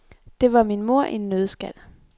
Det var min mor i en nøddeskal.